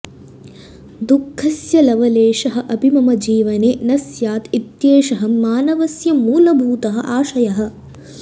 दुःखस्य लवलेशः अपि मम जीवने न स्यात् इत्येषः मानवस्य मूलभूतः आशयः